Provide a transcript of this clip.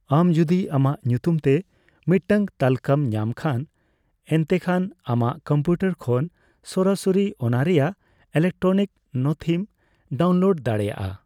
ᱟᱢ ᱡᱚᱫᱤ ᱟᱢᱟᱜ ᱧᱩᱛᱩᱢ ᱛᱮ ᱢᱤᱫᱴᱟᱝ ᱛᱟᱹᱞᱠᱟᱹᱢ ᱧᱟᱢ ᱠᱷᱟᱱ, ᱮᱱᱛᱮᱠᱷᱟᱱ ᱟᱢᱟᱜ ᱠᱚᱢᱯᱤᱭᱩᱴᱟᱨ ᱠᱷᱚᱱ ᱥᱚᱨᱟᱥᱚᱨᱤ ᱚᱱᱟᱨᱮᱭᱟᱜ ᱤᱞᱮᱠᱴᱨᱚᱱᱤᱠ ᱱᱚᱛᱷᱤᱢ ᱰᱟᱣᱩᱱᱞᱳᱰ ᱫᱟᱲᱮᱭᱟᱜᱼᱟ ᱾